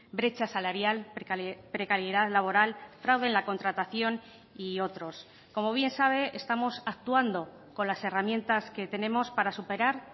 brecha salarial precariedad laboral fraude en la contratación y otros como bien sabe estamos actuando con las herramientas que tenemos para superar